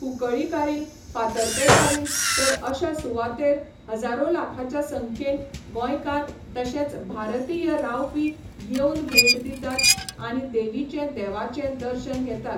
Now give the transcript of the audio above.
कुकळीकारीन फातर्पेकारीन तर अश्या सुवातेर हजारों लाखाच्या संख्येन गोंयकार तशेंच भारतीय रावपी येवन भेट दितात आनी देवीचें देवांचें दर्शन घेतात.